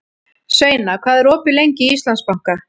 Sveina, hvað er opið lengi í Íslandsbanka?